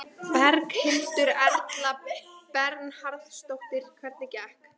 Berghildur Erla Bernharðsdóttir: Hvernig gekk?